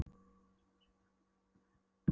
Smám saman fann ég uppgjöfina innra með mér.